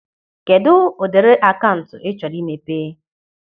Kedụ ụdịrị akaụntụ ị chọrọ imepe?